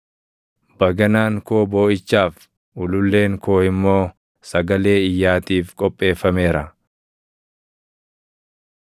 Baganaan koo booʼichaaf, ululleen koo immoo sagalee iyyaatiif qopheeffameera.